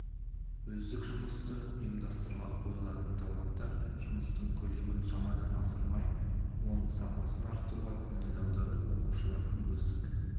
өздік жұмысты ұйымдастыруға қойылатын талаптар жұмыстың көлемін шамадан асырмай оның сапасын арттыруға көңіл аудару оқушылардың өздік